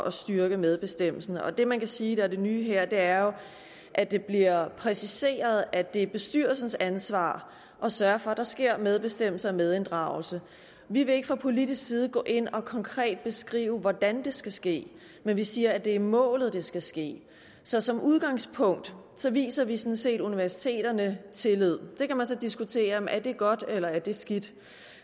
at styrke medbestemmelsen det man kan sige er det nye her er jo at det bliver præciseret at det er bestyrelsens ansvar at sørge for at der sker medbestemmelse og medinddragelse vi vil ikke fra politisk side gå ind og konkret beskrive hvordan det skal ske men vi siger at det er målet at det skal ske så som udgangspunkt viser vi sådan set universiteterne tillid det kan man så diskutere er det godt eller er det skidt